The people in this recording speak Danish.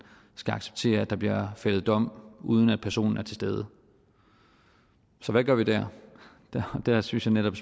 skal acceptere at der bliver fældet dom uden at personen er til stede så hvad gør vi der der synes jeg netop